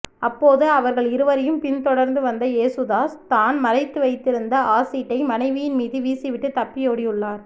அப்போது அவர்கள் இருவரையும் பின் தொடர்ந்து வந்த யேசுதாஸ் தான் மறைத்து வைத்திருந்த ஆசிட்டை மனைவியின் மீது வீசிவிட்டு தப்பியோடியுள்ளார்